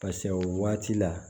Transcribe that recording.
o waati la